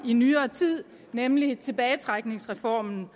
i nyere tid nemlig tilbagetrækningsreformen